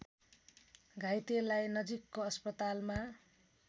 घाइतेलाई नजिकको अस्पतालमा